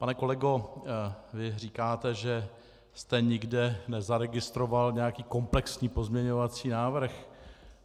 Pane kolego, vy říkáte, že jste nikde nezaregistroval nějaký komplexní pozměňovací návrh.